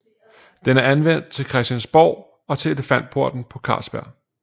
Den er anvendt til Christiansborg og til Elefantporten på Carlsberg